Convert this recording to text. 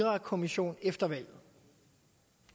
ambition